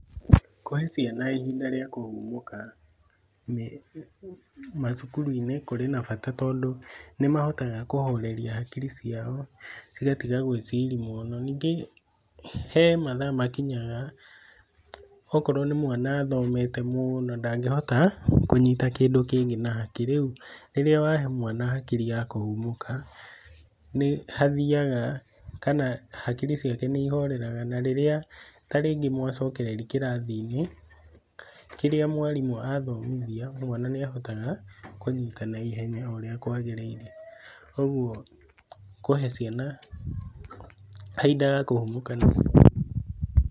Kũhe ciana ihinda rĩa kũhurũka macukuru-inĩ kũrĩ na bata tondũ nĩmahotaga kũhoreria hakiri ciao magatiga gwĩciria mũno. Ningĩ he mathaa makinyaga, okorwo nĩ mwana athomete mũno, ndangĩhota kũnyita kĩndũ kĩngĩ na hakiri. Rĩu rĩrĩa wahe mwana hakiri ya kũhurũka, hakiri ya kũhurũka, hakiri ciake nĩihoreraga. Na rĩrĩa ta rĩngĩ macokereria kĩrathi-inĩ, kĩrĩa mwarimũ athomithia, mwana nĩahotaga kũnyita na ihenya ũrĩa kwagĩrĩire. ũguo kũhee ciana kahinda ga kũhurũka nĩ kwega.